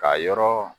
Ka yɔrɔ